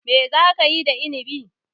Mai za ka yi da Inibi?